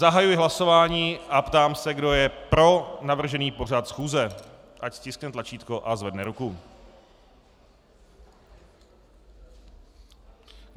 Zahajuji hlasování a ptám se, kdo je pro navržený pořad schůze, ať stiskne tlačítko a zvedne ruku.